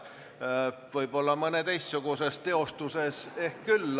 Võib-olla mõnes teistsuguses teostuses küll.